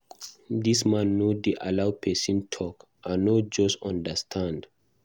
Dis man no dey allow person talk. I no just understand.